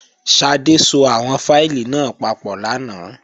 Ṣadé so àwọn fáìlì náà papọ̀ lánàá